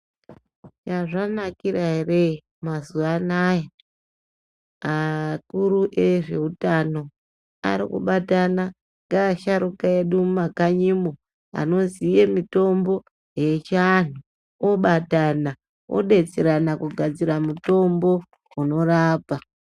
Zvazvanakira ere mazuwa anawa vakuru vezveutano arikubatana neasharuka edu mumakanyimo anoziye mitombo yechianhu obatana odetserana kugadzira mutombo unorapa.